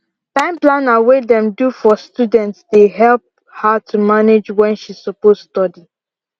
time planner wey dem do for studentsdey help her to manage wen she suppose study